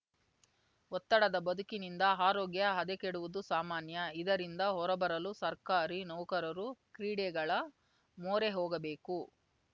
ಒತ್ತಡದ ಬದುಕಿನಿಂದ ಆರೋಗ್ಯ ಹದಗೆಡುವುದು ಸಾಮಾನ್ಯ ಇದರಿಂದ ಹೊರಬರಲು ಸರ್ಕಾರಿ ನೌಕರರು ಕ್ರೀಡೆಗಳ ಮೊರೆಹೋಗಬೇಕು